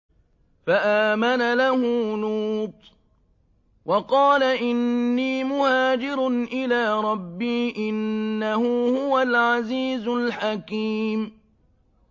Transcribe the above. ۞ فَآمَنَ لَهُ لُوطٌ ۘ وَقَالَ إِنِّي مُهَاجِرٌ إِلَىٰ رَبِّي ۖ إِنَّهُ هُوَ الْعَزِيزُ الْحَكِيمُ